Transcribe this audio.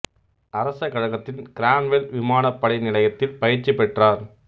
அரச கழகத்தின் கிரான்வெல் விமானப் படை நிலையத்தில் பயிற்சி பெற்றார்